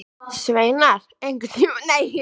Sveinar, einhvern tímann þarf allt að taka enda.